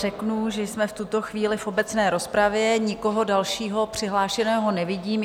Řeknu, že jsme v tuto chvíli v obecné rozpravě, nikoho dalšího přihlášeného nevidím.